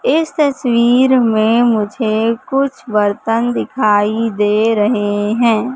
इस तस्वीर में मुझे कुछ बर्तन दिखाई दे रहे है।